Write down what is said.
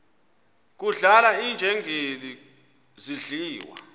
kudlala iinjengele zidliwa